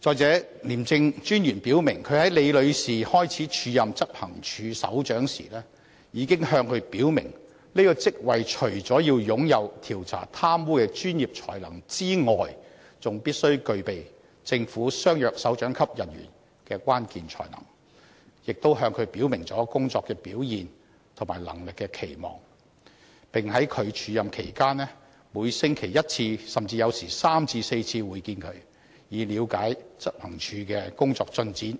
再者，廉政專員表明，他在李女士開始署任執行處首長前，已經向她表明這個職位除了要擁有調查貪污的專業才能外，還必須具備政府相若首長級人員的關鍵才能，亦表明對她的工作表現和能力的期望，並在她署任期間，"每星期一次，甚至有時3至4次會見她，以了解執行處的工作進展，